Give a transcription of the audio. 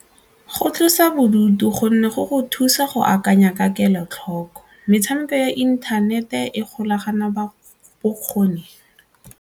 Go tlosa bodutu gonne go go thusa go akanya ka kelotlhoko, metshameko ya inthanete e golagana bokgoni.